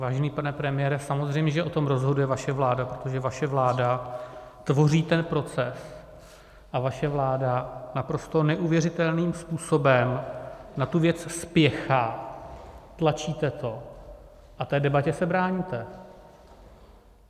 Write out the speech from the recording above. Vážený pane premiére, samozřejmě že o tom rozhoduje vaše vláda, protože vaše vláda tvoří ten proces a vaše vláda naprosto neuvěřitelným způsobem na tu věc spěchá, tlačíte to a té debatě se bráníte.